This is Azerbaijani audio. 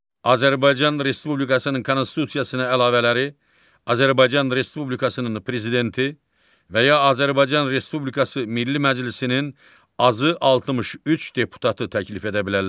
Azərbaycan Respublikasının konstitusiyasına əlavələri Azərbaycan Respublikasının Prezidenti və ya Azərbaycan Respublikası Milli Məclisinin azı 63 deputatı təklif edə bilərlər.